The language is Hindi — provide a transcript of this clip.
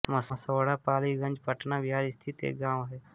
मसौढा पालीगंज पटना बिहार स्थित एक गाँव है